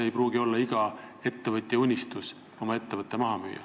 ... kuigi ma arvan, et iga ettevõtja unistus ei pruugi olla oma ettevõte maha müüa.